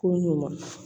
Ko ɲuman